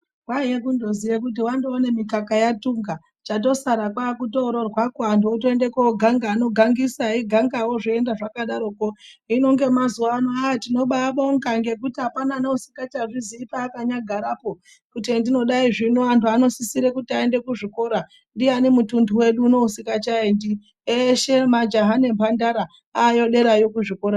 Kwaiye kutozoye kuti wandoona mikaka yatunga chatosara kotoroorwa anthu otoenda kooganga anogangisa eigangawo zveienda zvakadarokeo hino ngemazuwa anaa tibobaabonga ngekuti apana neusikachazvizii paakanyagarapo kuti hendinonyadai zvino anthu anosisira kuti aende kuzvikora, ndiani mutunthu wedu unowu usikachaendi eshe majaha nemphandara aayo kuzvikorayo.